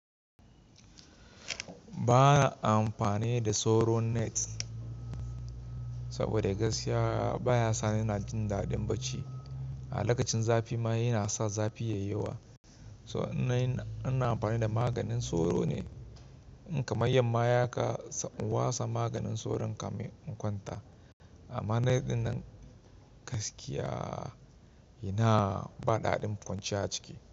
Ba na amfani da sauro net sabida gaskiya baya sani ina jin daɗin bacci. A lakacin zafi ma yana sa zafi yayi yawa. Ina amfani da maganin sauro ne in kamar yamma haka sai in watsa maganin sauron kamin in kwanta. Amma net ɗin nan, gaskiya inaa, ba daɗin kwanciya a ciki.